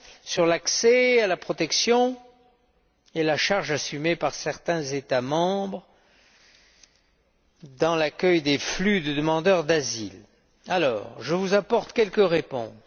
sur l'accès à la protection et de la charge assumée par certains États membres dans l'accueil des flux de demandeurs d'asile. Je vous apporte quelques réponses.